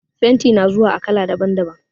Fenti na zuwa a kala daban-daban.